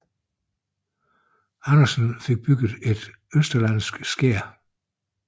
Andersen fik bygningen et østerlandsk skær